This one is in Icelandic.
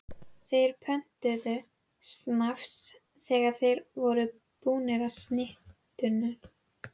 Þeir pöntuðu snafs þegar þeir voru búnir með snitturnar.